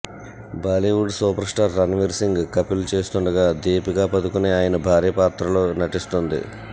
Bollywood super star Ranveer Singh Kapil గా చేస్తుండగా దీపికా పదుకొనె ఆయన భార్య పాత్రలో నటిస్తుంది